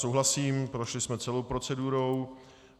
Souhlasím, prošli jsme celou procedurou.